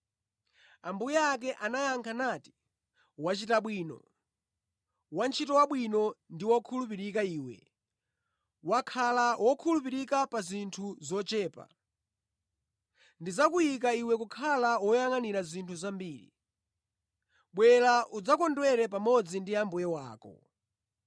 “Ambuye ake anayankha nati, ‘Wachita bwino, wantchito wabwino ndi wokhulupirika iwe! Wakhala wokhulupirika pa zinthu zochepa; ndidzakuyika iwe kukhala woyangʼanira zinthu zambiri. Bwera, udzakondwere pamodzi ndi mbuye wako!’